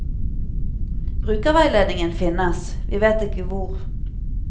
Brukerveiledningen finnes, vi vet ikke hvor.